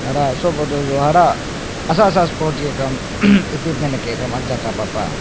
harah soh photo soh harah ahsa ahsa esporti kam equipment hakeh kam kapah pah.